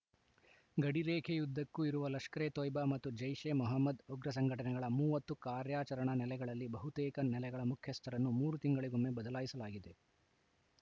ಗಡಿರೇಖೆಯುದ್ದಕ್ಕೂ ಇರುವ ಲಷ್ಕರೆ ತೊಯ್ಬಾ ಮತ್ತು ಜೈಷೆ ಮೊಹಮ್ಮದ್‌ ಉಗ್ರ ಸಂಘಟನೆಗಳ ಮೂವತ್ತು ಕಾರ್ಯಾಚರಣಾ ನೆಲೆಗಳಲ್ಲಿ ಬಹುತೇಕ ನೆಲೆಗಳ ಖ್ಯಸ್ಥರನ್ನು ಮೂರು ತಿಂಗಳಿಗೊಮ್ಮೆ ಬದಲಾಯಿಸಲಾಗಿದೆ